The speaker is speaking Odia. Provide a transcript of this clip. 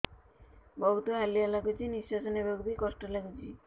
ବହୁତ୍ ହାଲିଆ ଲାଗୁଚି ନିଃଶ୍ବାସ ନେବାକୁ ଵି କଷ୍ଟ ଲାଗୁଚି